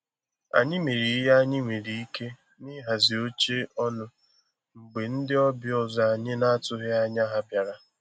Anyị mere ihe anyị nwere ike na ihazi oche ọnụ mgbe ndi ọbịa ọzọ anyị na atụghị anya ha bịara